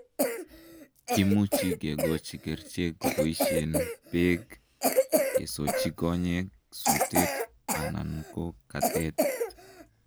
kimuchi kigochi kerichek keboisien beek, kisoochi konyek, suteet anan ko katet.